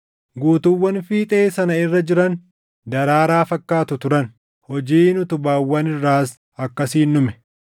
Guutuuwwan fiixee sana irra jiran daraaraa fakkaatu turan. Hojiin utubaawwan irraas akkasiin dhume.